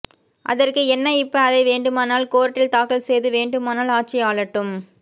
அதற்க்கு என்ன இப்ப அதை வேண்டுமானால் கோர்ட்டில் தாக்கல் செய்து வேண்டுமானால் ஆட்சி ஆளட்டும்